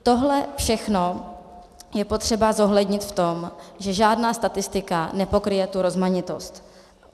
Tohle všechno je potřeba zohlednit v tom, že žádná statistika nepokryje tu rozmanitost.